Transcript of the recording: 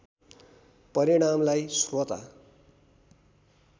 परिणामलाई श्रोता